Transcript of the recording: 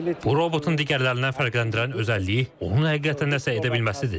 Bu robotu digərlərindən fərqləndirən özəlliyi onun həqiqətən nəsə edə bilməsidir.